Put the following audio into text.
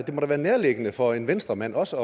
måtte være nærliggende for en venstremand også